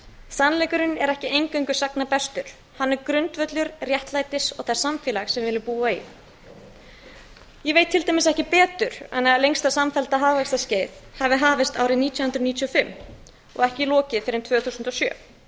sannleikurinn er ekki eingöngu sagna bestur hann er grundvöllur réttlætis og þess samfélags sem við viljum búa í ég veit til dæmis ekki betur en að lengsta samfellda hagvaxtarskeiðið hafi hafist árið nítján hundruð níutíu og fimm og ekki lokið fyrr en tvö þúsund og sjö